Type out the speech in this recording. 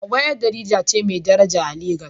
Hawwa ƴar jarida ce mai daraja a Legas